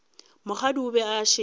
mokgadi o be a šetše